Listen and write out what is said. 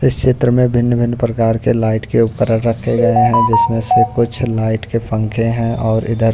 इस चित्र में भिन्न-भिन्न प्रकार के लाइट के उपकरण रखे गए हैं जिसमें से कुछ लाइट के पंखे हैं और इधर--